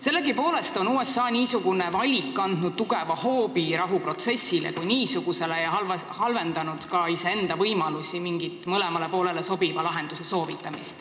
Sellegipoolest on USA niisugune valik andnud rahuprotsessile tugeva hoobi ja halvendanud ka tema enda võimalusi soovitada mingit mõlemale poolele sobivat lahendust.